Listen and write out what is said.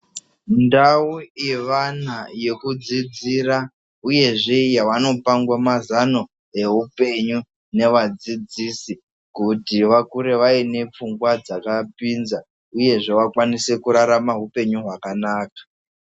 Ndau yevana yekudzidzira uyezve yevanopangwa mazano yeupenyu nevadzidzisi. Kuti vakure vaine pfungwa dzakapinza, uyezve vakwanise kurarama upenyu hwakanaka.